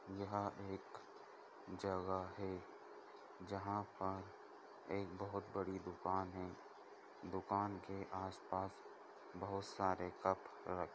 यहाँ एक जगह है जहाँ पर एक बहुत बड़ी दुकान है दुकान के आसपास बहुत सारे कप रखे--